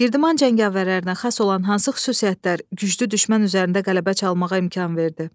Girdman cəngavərlərinə xas olan hansı xüsusiyyətlər güclü düşmən üzərində qələbə çalmağa imkan verdi?